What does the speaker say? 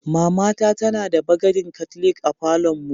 Mama ta tana da bagadin katlik a falon mu.